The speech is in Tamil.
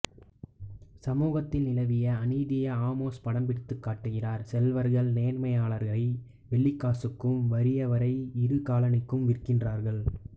சமூகத்தில் நிலவிய அநீதியை ஆமோஸ் படம்பிடித்துக் காட்டுகிறார் செல்வர்கள் நேர்மையாளரை வெள்ளிக்காசுக்கும் வறியவரை இரு காலணிக்கும் விற்கின்றார்கள்